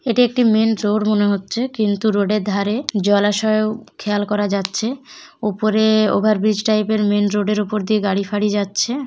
এটি একটি main road মনে হচ্ছে কিন্তু রোড এর ধারে জলাশয় ও খেয়াল করা যাচ্ছে উপরে-এ ওভার ব্রিজ টাইপ এর মেইন রোড এর উপর দিয়ে গাড়ি ফাঁড়ি যাচ্ছে।